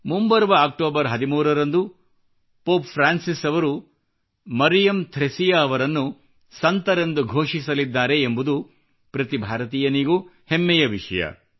ಮುಂಬರುವ ಅಕ್ಟೋಬರ್ 13 ರಂದು pope Francis ಅವರು ಮರಿಯಮ್ ಥ್ರೆಸಿಯಾ ಅವರನ್ನು ಸಂತರೆಂದು ಘೋಷಿಸಲಿದ್ದಾರೆ ಎಂಬುದು ಪ್ರತಿ ಭಾರತೀಯನಿಗೂ ಹೆಮ್ಮೆಯ ವಿಷಯವಾಗಿದೆ